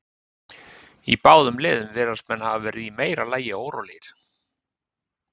Í báðum liðum virðast menn hafa verið í meira lagi órólegir.